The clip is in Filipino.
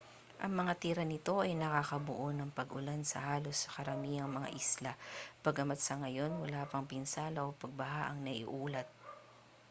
ang mga tira nito ay nakabuo ng mga pag-ulan sa halos sa karamihang mga isla bagamat sa ngayon wala pang pinsala o pagbaha ang naiulat